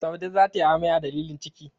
Saude za ta yi amai a dalilin ciki.